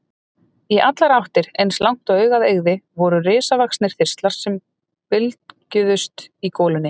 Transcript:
Í allar áttir, eins langt og augað eygði, voru risavaxnir þistlar sem bylgjuðust í golunni.